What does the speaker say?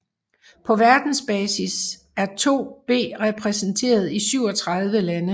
På verdensbasis er be2 repræsenteret i 37 lande